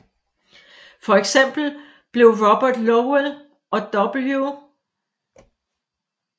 For eksempel blev Robert Lowell og W